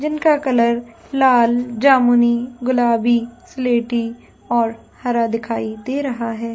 जिनका कलर लाल जामुनी गुलाबी सलेटी और हरा दिखाई दे रहा है।